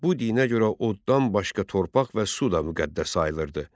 Bu dinə görə oddan başqa torpaq və su da müqəddəs sayılırdı.